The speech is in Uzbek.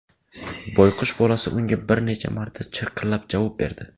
Boyqush bolasi unga bir necha marta chirqillab javob berdi.